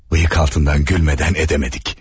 Bıyık altından gülmədən edəmədik.